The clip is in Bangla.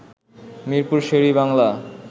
মিরপুর শের-ই-বাংলা